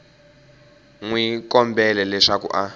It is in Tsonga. n wi kombela leswaku a